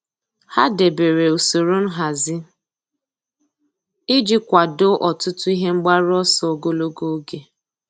Há dèbèrè usoro nhazi iji kwàdòọ́ ọtụ́tụ́ ihe mgbaru ọsọ ogologo oge.